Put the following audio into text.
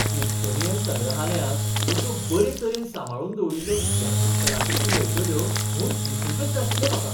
Smithsonian संग्रहालयांत अश्यो बरे तरेन सांबाळून दवरिल्ल्यो इतिहासीक कलाकृती मेळटल्यो म्हूण दिसूंकच नाशिल्लें म्हाका.